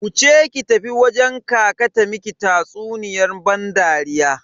Wuce ki tafi wajen kaka ta miki tatsuniyan ban dariya.